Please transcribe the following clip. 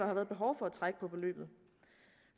har været behov for at trække på beløbet